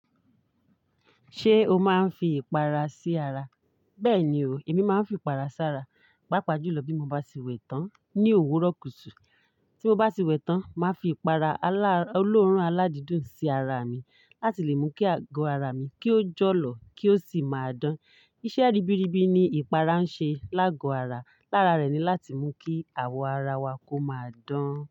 Ṣé o máa ń fi ìpara sí ara? Bẹ́ẹ̀ni o, èmi máa ń fi ìpara sí ara. Paapajùlọ bí mo bá ti wẹ̀ tán ní òwúrọ̀ kùtù. Tí mo bá ti wẹ̀ tán, màá fi ìpara olóòórùn aládídùn sí ara mi láti lè mú kí ago ara mi kí ó jọ̀lọ̀ kí ó sì máa dán. Iṣẹ́ ribiribi ni ìpara ń ṣe lágo ara. Lára rẹ̀ ni láti mú kí àwọ̀ ara wa kó máa dán.